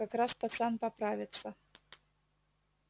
как раз пацан поправится